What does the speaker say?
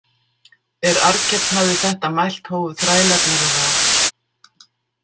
Er Arnkell hafði þetta mælt hófu þrælarnir á rás.